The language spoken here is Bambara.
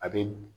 A bɛ